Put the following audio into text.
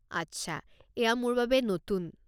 আচ্ছা, এইয়া মোৰ বাবে নতুন।